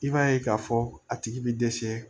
I b'a ye k'a fɔ a tigi bi dɛsɛ